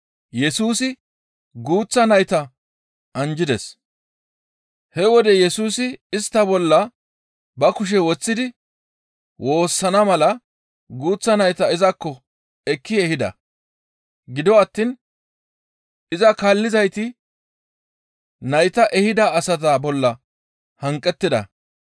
He wode Yesusi istta bolla ba kushe woththidi woossana mala guuththa nayta izakko ekki ehida; gido attiin iza kaallizayti nayta ehida asata bolla hanqettida.